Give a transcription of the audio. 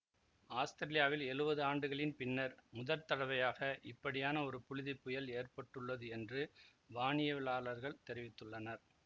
ஆஸ்திரேலியாவில் எழுவது ஆண்டுகளின் பின்னர் முதற்தடவையாக இப்படியான ஒரு புழுதி புயல் ஏற்பட்டுள்ளது என்று வானியலாளர்கள் தெரிவித்துள்ளனர்